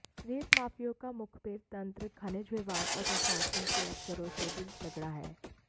रेत माफियाओं का मुखबिर तंत्र खनिज विभाग और प्रशासन के अफसरों से भी तगड़ा है